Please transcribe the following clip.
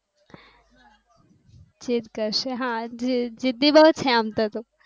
જીધ કરશે હા જિધઇ બૌ છે આમતો તું